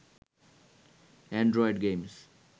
Android games